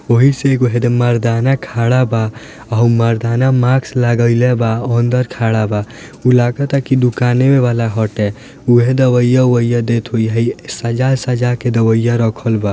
ओही से एगो हेड मर्दाना खड़ा बा ऊ मर्दाना मास्क लगेले बा अंदर खड़ा बा ऊ लागता की दुकानें वला हटे ऊहे दवाईया-उवया देत हई सजा-सजा के दवाइया रखल बा।